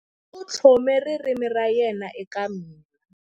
U tlhome ririmi ra yena eka mina.